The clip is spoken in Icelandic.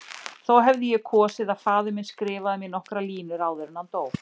Þó hefði ég kosið að faðir minn skrifaði mér nokkrar línur áður en hann dó.